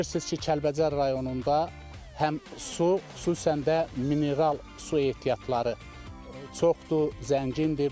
Bilirsiniz ki, Kəlbəcər rayonunda həm su, xüsusən də mineral su ehtiyatları çoxdur, zəngindir.